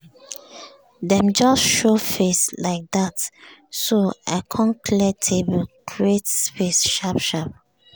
dem just show face like dat so i com clear table create space sharp sharp.